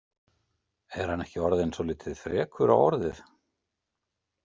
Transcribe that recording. Er hann ekki orðinn svolítið frekur á orðið?